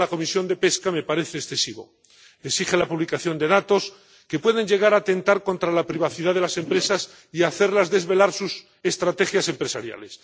aprobado en la Comisión de Pesca me parece excesivo exige la publicación de datos que pueden llegar a atentar contra la privacidad de las empresas y hacerles desvelar sus estrategias empresariales.